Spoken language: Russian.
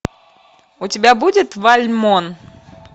у тебя будет вальмон